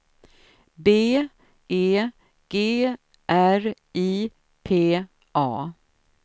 B E G R I P A